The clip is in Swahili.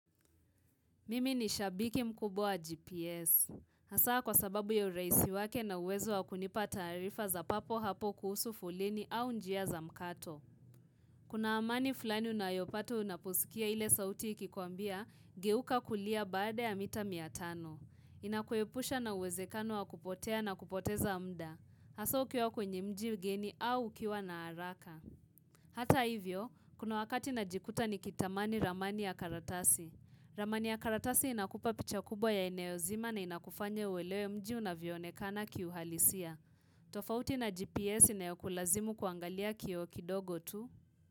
Mimi ni shabiki mkubo wa GPS. Hasaa kwa sababu ya urahisi wake na uwezo wa kunipa taarifa za papo hapo kuhusu foleni au njia za mkato. Kuna amani fulani unayopato unaposikia ile sauti ikikuambia, geuka kulia baada ya mita mia tano. Inakuepusha na uwezekano wa kupotea na kupoteza muda. Hasaa ukiwa kwenye mji ugeni au ukiwa na haraka. Hata hivyo, kuna wakati najikuta ni kitamani ramani ya karatasi. Ramani ya karatasi inakupa picha kubwa ya ineo zima na inakufanya uelewe mji unavyoonekana kiuhalisia. Tofauti na GPS inayo kulazimu kuangalia kioo kidogo tu.